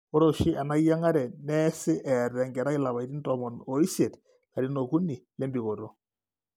Ore oshi enayieng'are neesi eeta engerai ilapaitin tomon oisiet ilarin okuni lembikoto.